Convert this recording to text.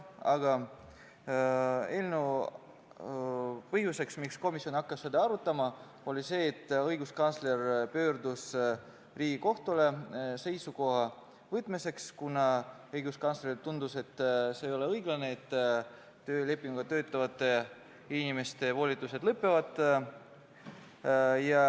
Aga põhjus, miks komisjon hakkas seda arutama, oli see, et õiguskantsler pöördus Riigikohtusse seisukoha saamiseks, kuna õiguskantslerile tundus, et ei ole õiglane, et töölepinguga töötavate inimeste volitused lõpevad.